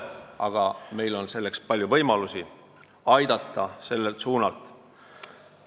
Aga meil on palju võimalusi ja me saaksime sellel suunal aidata.